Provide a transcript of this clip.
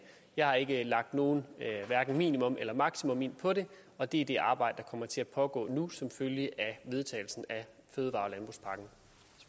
jeg har ikke lagt noget hverken minimum eller maksimum ind på det og det er det arbejde kommer til at pågå nu som følge af vedtagelsen af fødevare